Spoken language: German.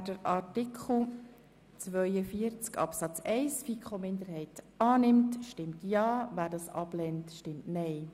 Wer den Antrag der FiKo-Minderheit annimmt, stimmt Ja, wer diesen ablehnt, stimmt Nein.